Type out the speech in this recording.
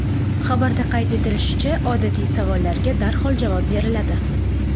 Xabarda qayd etilishicha, odatiy savollarga darhol javob beriladi.